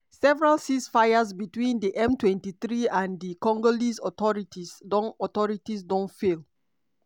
several ceasefires between di m23 and di congolese authorities don authorities don fail.